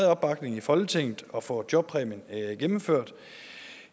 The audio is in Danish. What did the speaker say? opbakning i folketinget at få jobpræmien gennemført